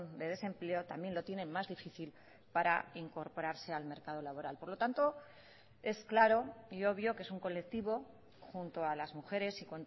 de desempleo también lo tienen más difícil para incorporarse al mercado laboral por lo tanto es claro y obvio que es un colectivo junto a las mujeres y